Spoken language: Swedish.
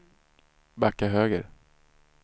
backa höger